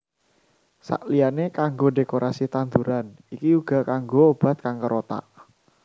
Sakliyané kanggo dékorasi tanduran iki uga kanggo obat kanker otak